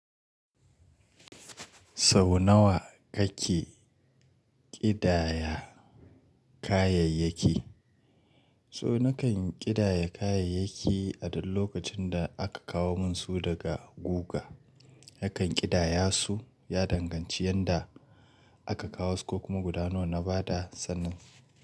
Sau nawa kake ƙidaya kayayyaki? So nakan ƙidaya kayayyaki a duk lokacin da aka kawo mun su daga guga. Hakan ƙidaya su ya danganci yanda aka kawo su ko kuma guda nawa na ba da sannan.